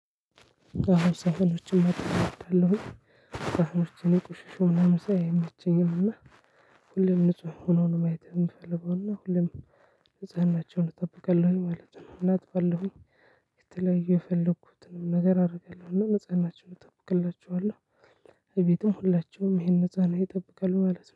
አዎ ሰሃኖችን ማጠብ እወዳለሁኝ ሰሃኖችን የቆሸሹ ምናምን ሳይ አይመቸኝም እና ሁሌም ንጹ ሆነው ነው ማየት የምፈልገው። እና ሁሌም ንጽህናቸውን እጠብቃለሁኝ ማለት ነው። እና አጥባለሁኝ። የተለያየ የፈለኩትንም ነገር አደርጋለሁ እና ንጽህናቸውን እጠብቅላቸኋለሁ። እቤቱም ሁላችሁም ይሄን ንጽህና ይጠብቃሉ ማለት ነው